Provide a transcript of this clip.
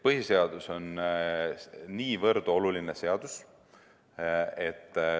Põhiseadus on lihtsalt niivõrd oluline seadus.